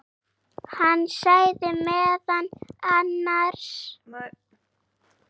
Hann sagði meðal annars